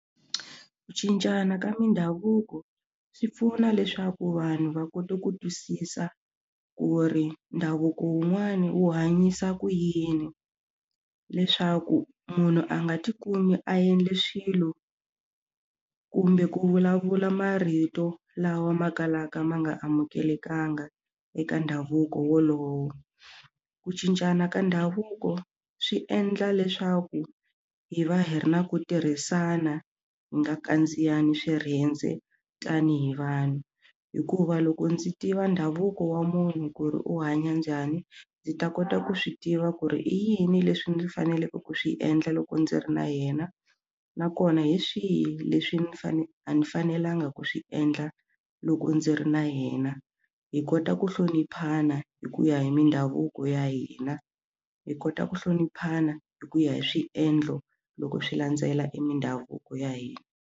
Ku cincana ka mindhavuko swi pfuna leswaku vanhu va kota ku twisisa ku ri ndhavuko wun'wani wu hanyisa ku yini leswaku munhu a nga tikumi a endle swilo kumbe ku vulavula marito lawa ma kalaka ma nga amukelekangi eka ndhavuko wolowo ku cincana ka ndhavuko swi endla leswaku hi va hi ri na ku tirhisana hi nga kandziyana swirhendze tanihi vanhu hikuva loko ndzi tiva ndhavuko wa munhu ku ri u hanya njhani ndzi ta kota ku swi tiva ku ri i yini leswi ndzi faneleke ku swi endla loko ndzi ri na yena nakona hi swihi leswi ni fane a ni fanelanga ku swi endla loko ndzi ri na yena hi kota ku hloniphana hi ku ya hi mindhavuko ya hina hi kota ku hloniphana hi ku ya hi swiendlo loko swi landzela emindhavuko ya hina.